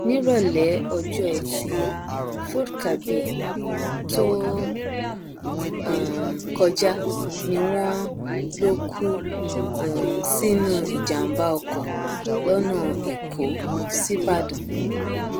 nírọlẹ ọjọ etí furcabee tó um kọjá ni wọn lọ kú um sínú ìjàmbá oko lọnà èkó síbàdàn